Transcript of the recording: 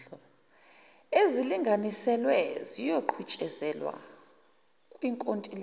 ezilinganiselwe ziyoqhutshezelwa kwinkontileka